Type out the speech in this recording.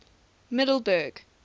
middleburg